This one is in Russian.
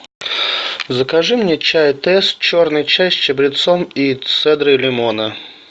закажи мне чай тесс черный чай с чабрецом и цедрой лимона